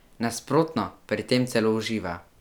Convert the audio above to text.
Nasprotno, pri tem celo uživa.